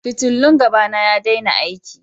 Fitillun gaba na ya daina aiki.